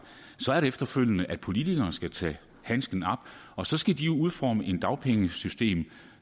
er det efterfølgende sådan at politikerne skal tage handsken op og så skal de udforme et dagpengesystem